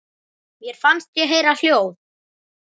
Mér fannst ég heyra hljóð.